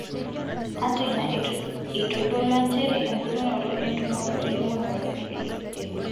Ata ina eitodolua nchere embulunoto entumoto elimunoto elelek edou.